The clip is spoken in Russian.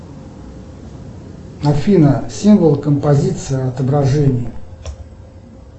афина символ композиции отображение